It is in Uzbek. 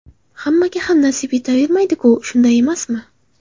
Hammaga ham nasib etavermaydi-ku, shunday emasmi.